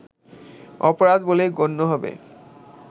অপরাধ বলে গণ্য হবে